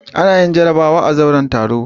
Ana yin jarabawa a zauren taro.